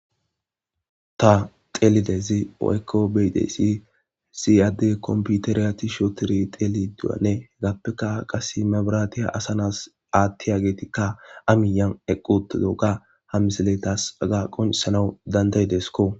ta xelidezi oyko beyidesi siadde komputeriyati shootiri xeli du7anne hegappeka qase mabiratiya asanas aattiya geetikka amiyan eqqute doga hamiseletas aga qonisanawu dandayidesko